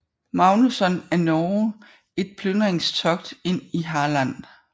Magnusson af Norge et plyndringstogt ind i Halland